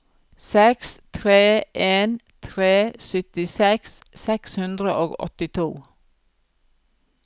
seks tre en tre syttiseks seks hundre og åttito